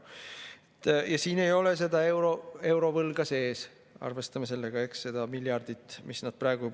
Ja siin ei ole seda eurovõlga sees – arvestame sellega, eks –, seda miljardit, mis nad on teinud.